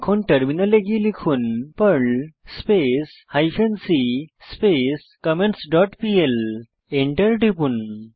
এখন টার্মিনালে গিয়ে লিখুন Perl space hyphen c space comments dot PL enter টিপুন